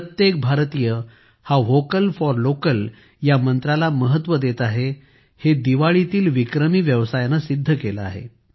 प्रत्येक भारतीय हा व्होकल फॉर लोकल या मंत्राला महत्व देत आहे हे दिवाळीतील विक्रमी व्यवसायाने सिद्ध केले आहे